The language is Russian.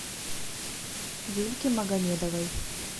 юльки магомедовой